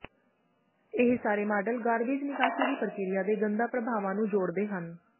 ਇਹ ਸਾਰੇ model garbage ਨਿਕਾਸੀ ਦੀ ਪ੍ਰਕਿਰਿਆ ਦੇ ਗੰਦਾ ਪ੍ਰਭਾਵਾਂ ਨੂੰ ਜੋੜਦੇ ਹਨ